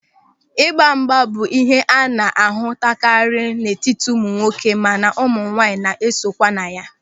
Ịgbamgba bụ ịhe a na-ahụtakarị n'etiti ụmụnwoke mana ụmụnwaanyị na-esonye kwa na ya.